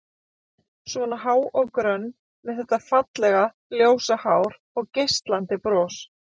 Svona há og grönn, með þetta fallega, ljósa hár og geislandi bros.